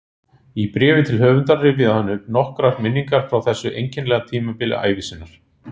Í bréfi til höfundar rifjaði hann upp nokkrar minningar frá þessu einkennilega tímabili ævi sinnar